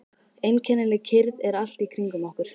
Einkennileg kyrrð er allt í kringum okkur.